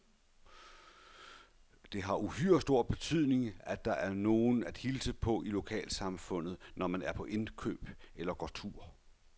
Det har uhyre stor betydning, at der er nogen at hilse på i lokalsamfundet, når man er på indkøb eller går tur.